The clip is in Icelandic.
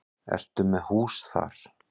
Ertu með hús þar?